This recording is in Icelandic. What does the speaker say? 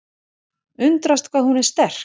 Undrast hvað hún er sterk.